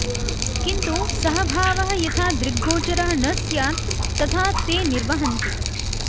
किन्तु सः भावः यथा दृग्गोचरः न स्यात् तथा ते निर्वहन्ति